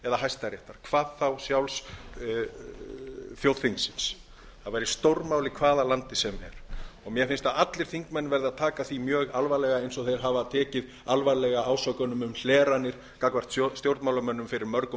hæstaréttar hvað þá sjálfs þjóðþingsins það væri stórmál í hvaða landi sem er og mér finnst að allir þingmenn verði að taka því mjög alvarlega eins og þeir hafa tekið alvarlega ásökunum um hleranir gagnvart stjórnmálamönnum fyrir mörgum